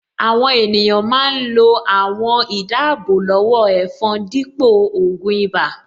Àwọn ènìyàn máa ń lo àwọn àwọ̀n-ìdáábò-lọ́wọ́-ẹ̀fọn dípò ògùn ibà